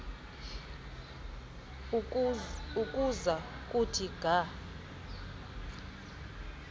ukuza kuthi ga